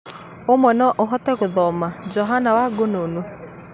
Onawe no ũhote gũthoma. Johana Wangũnũũ?